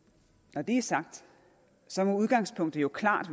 når det er sagt så må udgangspunktet jo klart